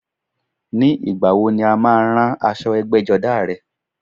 Ní ìgbàwo ni o má a rán aṣọ ẹgbẹ́jọdá rẹ?